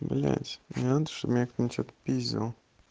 блять мне надо чтоб меня кто-то отпиздил